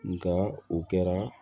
Nka o kɛra